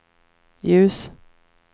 ljus